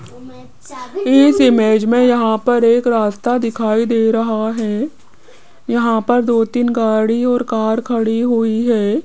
इस इमेज में यहां पर एक रास्ता दिखाई दे रहा है यहां पर दो तीन गाड़ी और कार खड़ी हुई है।